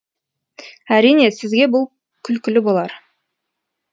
әрине сізге бұл күлкілі болар